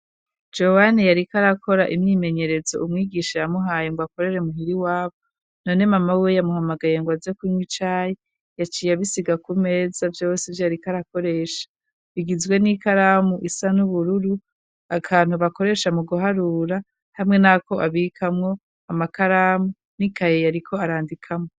Jowani yariko arakora imyimenyerezo umwigisha yamuhaye ngo akorere muhira iwabo none mama wiwe yamuhamagaye ngwaze kunwa icayi yaciye abisiga ku meza vyose ivyo yariko arakoresha bigizwe n'ikaramu isa n'ubururu akantu bakoresha mu guharura hamwe nako abikamwo amakaramu n'ikaye yariko arandikamwo.